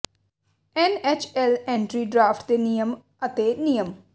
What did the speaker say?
N H L entry draft ਦੇ ਨਿਯਮ ਅਤੇ ਨਿਯਮ